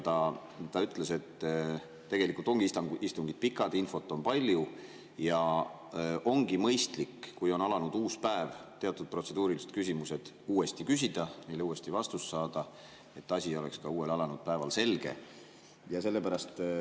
Ta ütles, et tegelikult ongi istungid pikad, infot on palju ja ongi mõistlik, kui on alanud uus päev, teatud protseduurilised küsimused uuesti küsida, neile uuesti vastus saada, et asi oleks ka uuel, alanud päeval selge.